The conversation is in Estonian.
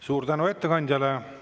Suur tänu ettekandjale!